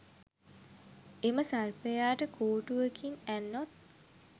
එම සර්පයාට කෝටුවකින් ඇන්නොත්